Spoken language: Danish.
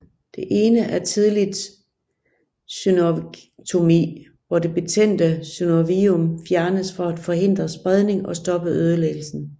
Den ene er tidligt synovektomi hvor det betændte synovium fjernes for at forhindre spredning og stoppe ødelæggelsen